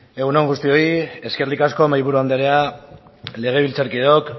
egun on guztioi eskerrik asko mahaiburu andrea legebiltzarkideok